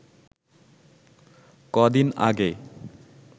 কদিন আগে